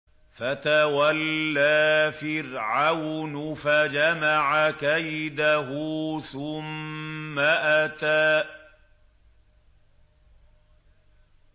فَتَوَلَّىٰ فِرْعَوْنُ فَجَمَعَ كَيْدَهُ ثُمَّ أَتَىٰ